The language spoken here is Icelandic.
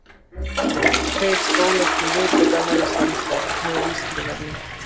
Nú hafa tveir skólar til viðbótar hafið samstarf með Vísindavefnum.